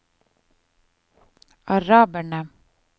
araberne